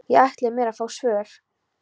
Ég ætlaði mér að fá svör.